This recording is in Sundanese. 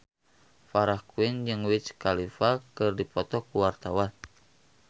Farah Quinn jeung Wiz Khalifa keur dipoto ku wartawan